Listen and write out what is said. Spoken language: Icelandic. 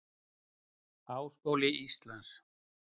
Háskóli Íslands.